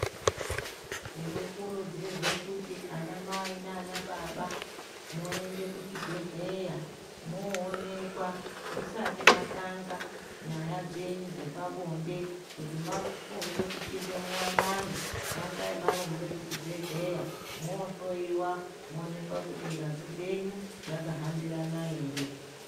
Tinokurudzirwe kuti anamai naanababa, muende kuchibhedhleya, moonekwa musati matanga nyaya dzenyu dzepabonde, kuti mafunge kupinde muwanano, tangai marumbe kuchibhedhleya, moohloiwa, moonekwa kuti ngazi dzenyu, dzakahambirana ere.